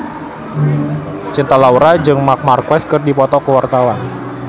Cinta Laura jeung Marc Marquez keur dipoto ku wartawan